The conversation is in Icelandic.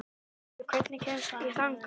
Olli, hvernig kemst ég þangað?